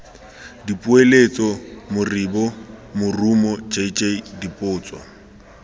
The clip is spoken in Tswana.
dipoeletso moribo morumo jj dipotso